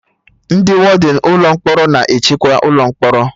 Ndị wọdịn ụlọ mkpọrọ na-echekwa ụlọ mkpọrọ